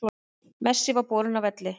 Messi var borinn af velli